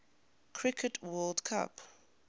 cricket world cup